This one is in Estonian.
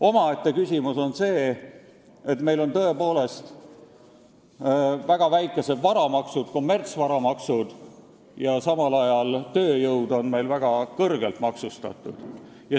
Omaette küsimus on see, et meil on tõepoolest väga väikesed varamaksud, kommertsvaramaksud, samal ajal on tööjõud meil väga kõrgelt maksustatud.